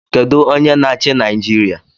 Kedu onye na-achị Naijiria?